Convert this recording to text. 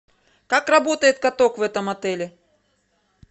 как работает каток в этом отеле